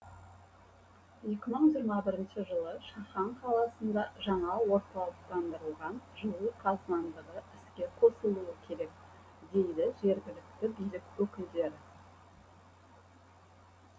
екі мың жиырма бірінші жылы шахан қаласында жаңа орталықтандырылған жылу қазандығы іске қосылуы керек дейді жергілікті билік өкілдері